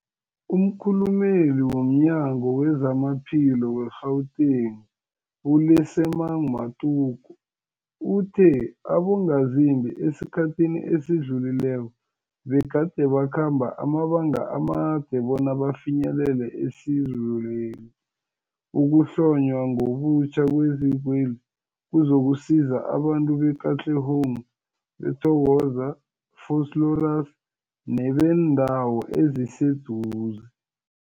Umkhulumeli womNyango weZamaphilo we-Gauteng, u-Lesemang Matuka uthe abongazimbi esikhathini esidlulileko begade bakhamba amabanga amade bona bafinyelele isizweli. Ukuhlonywa ngobutjha kwezikweli kuzokusiza abantu be-Katlehong, Thokoza, Vosloorus nebeendawo eziseduze.